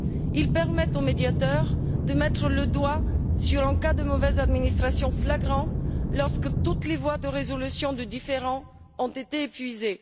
Ils permettent au Médiateur de mettre le doigt sur un cas de mauvaise administration flagrant, lorsque toutes les voies de résolution des différends ont été épuisées.